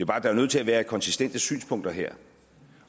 bare nødt til at være konsistente synspunkter her